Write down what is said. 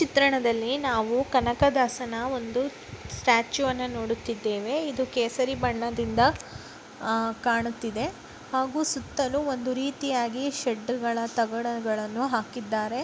ಚಿತ್ರಣದಲ್ಲಿ ನಾವು ಕನಕದಾಸನ ಒಂದು ಸ್ಟ್ಯಾಚುವನ್ನು ನೋಡುತ್ತಿದ್ದೇವೆ. ಇದು ಕೇಸರಿ ಬಣ್ಣದಿಂದ ಅಹ್ ಕಾಣುತ್ತಿದೆ ಹಾಗೂ ಸುತ್ತಲೂ ಒಂದು ರೀತಿಯಾಗಿ ಶೆಡ್ಡುಗಳ ತಗಡುಗಳನ್ನು ಹಾಕಿದ್ದಾರೆ.